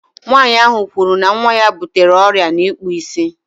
Nwaanyị ahu kwuru na nwa ya butere ọrịa n'ikpụ isi